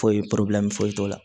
Foyi foyi t'o la